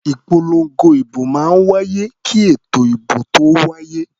Ìpolongo ìbò máa ń wáyé kí ètò ìbò tó wáyé.